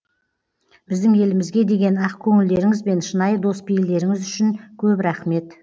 біздің елімізге деген ақ көңілдеріңіз бен шынайы дос пейілдеріңіз үшін көп рахмет